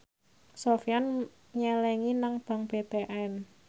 Sofyan nyelengi nang bank BTN